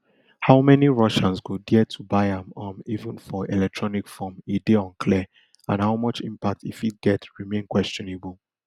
how many russians go dare to buy am um even for electronic form e dey unclear and how much impact e fit get remain questionable